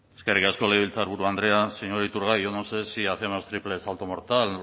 eskerrik asko legebiltzarburu andrea señor iturgaiz yo no sé si hacemos triple salto mortal